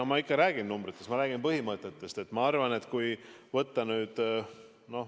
No ma ikka räägin numbritest, ma räägin põhimõtetest.